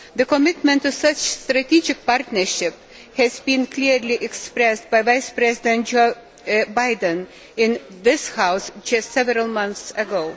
The commitment to such a strategic partnership was clearly expressed by Vice President Joe Biden in this House just a few months ago.